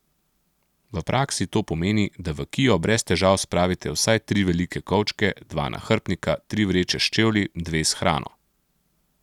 V praksi to pomeni, da v kio brez težav spravite vsaj tri velike kovčke, dva nahrbtnika, tri vreče s čevlji, dve s hrano...